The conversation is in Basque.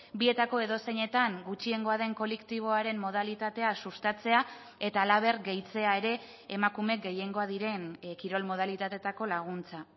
bietako edozeinetan gutxiengoa den kolektiboaren modalitatea sustatzea eta halaber gehitzea ere emakume gehiengoa diren kirol modalitateetako laguntza